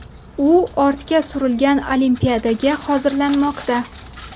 U ortga surilgan Olimpiadaga hozirlanmoqda.